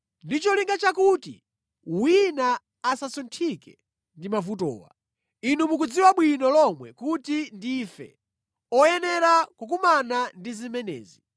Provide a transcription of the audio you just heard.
ndi cholinga chakuti wina asasunthike ndi mavutowa. Inu mukudziwa bwino lomwe kuti ndife oyenera kukumana ndi zimenezi.